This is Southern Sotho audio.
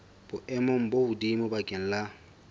boemong bo hodimo bakeng la